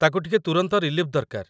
ତାକୁ ଟିକେ ତୁରନ୍ତ ରିଲିଫ୍‌ ଦରକାର